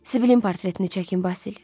Siblin portretini çəkin Basil.